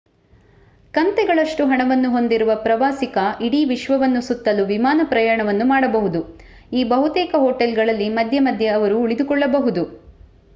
ಕಂತೆಗಳಷ್ಟು ಹಣವನ್ನು ಹೊಂದಿರುವ ಪ್ರವಾಸಿಗ ಇಡೀ ವಿಶ್ವವನ್ನು ಸುತ್ತಲು ವಿಮಾನ ಪ್ರಯಾಣವನ್ನು ಮಾಡಬಹುದು ಈ ಬಹುತೇಕ ಹೋಟೆಲ್‌ಗಳಲ್ಲಿ ಮಧ್ಯೆ ಮಧ್ಯೆ ಅವರು ಉಳಿದುಕೊಳ್ಳಬಹುದು